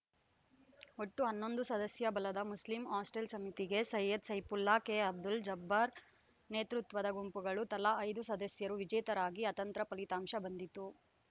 ಒಟ್ಟು ಹನ್ನೊಂದು ಸದಸ್ಯ ಬಲದ ಮುಸ್ಲಿಂ ಹಾಸ್ಟೆಲ್‌ ಸಮಿತಿಗೆ ಸೈಯದ್‌ ಸೈಫುಲ್ಲಾ ಕೆಅಬ್ದುಲ್‌ ಜಬ್ಬಾರ್‌ ನೇತೃತ್ವದ ಗುಂಪುಗಳು ತಲಾ ಐದು ಸದಸ್ಯರು ವಿಜೇತರಾಗಿ ಅತಂತ್ರ ಫಲಿತಾಂಶ ಬಂದಿತು